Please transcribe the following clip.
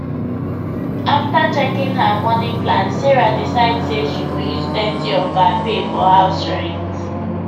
after checking her money plan sarah decide say she go use thirty of her pay for house rent